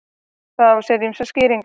Það á sér ýmsar skýringar.